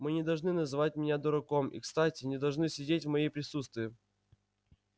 мы не должны называть меня дураком и кстати не должны сидеть в мои присутствии